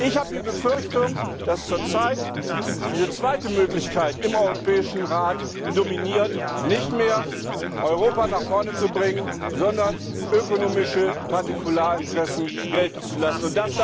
Ich habe die Befürchtung, dass zurzeit diese zweite Möglichkeit im Europäischen Rat dominiert, nicht mehr Europa nach vorne zu bringen, sondern ökonomische Partikularinteressen gelten zu lassen.